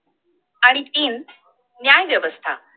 आणि तीन न्याय व्यवस्था